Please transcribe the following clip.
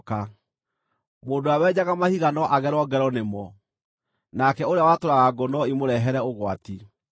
Mũndũ ũrĩa wenjaga mahiga no agerwo ngero nĩmo; nake ũrĩa watũraga ngũ no imũrehere ũgwati.